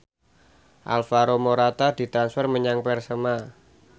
Alvaro Morata ditransfer menyang Persema